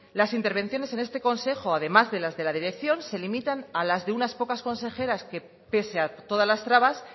las intervenciones en este consejo además de las de la dirección se limitan al de unas pocas consejeras que pese a todas las trabas